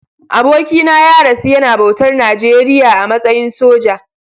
Abokina ya rasu yana bautar Najeriya a matsayin soja.